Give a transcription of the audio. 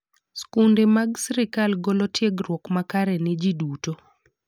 Skunde ma sirkal golo tiegruok makare ne ji duto.